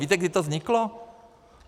Víte, kdy to vzniklo?